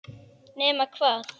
Nema hvað!